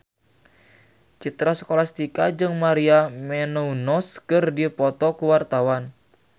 Citra Scholastika jeung Maria Menounos keur dipoto ku wartawan